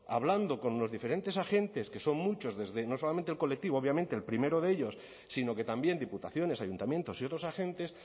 hablando con los diferentes agentes que son muchos desde no solamente el colectivo obviamente el primero de ellos sino que también diputaciones ayuntamientos y otros agentes